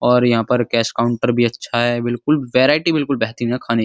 और यहां पर कैश काउन्टर भी अच्छा है। बिल्कुल वेराईटी बिल्कुल बेहतरीन है खाने की।